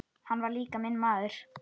Hann var líka minn maður.